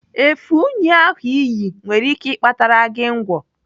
Efe únyí ahụ iyi nwere ike ịkpatara gị ngwọ.